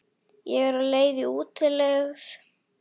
Ég er á leið í útlegð.